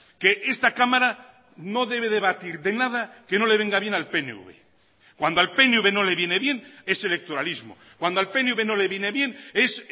que esta cámara no debe debatir de nada que no le venga bien al pnv cuando al pnv no le viene bien es electoralismo cuando al pnv no le viene bien es